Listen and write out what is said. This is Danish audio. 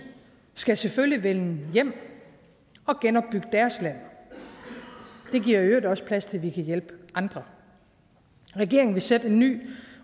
skal selvfølgelig vende hjem og genopbygge deres land det giver i øvrigt også plads til at vi kan hjælpe andre regeringen vil sætte en ny